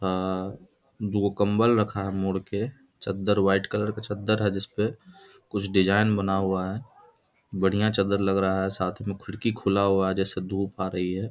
आ दो कम्ब्बल रखा है मोड़ के चद्दर व्हाइट कलर का चद्दर जिस पे कुछ डिजाइन बना हुआ है बढिया चादर लगा रहा है साथ में खिड़की खुला हुआ है जिससे धूप आ रही है।